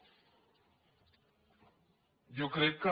jo crec que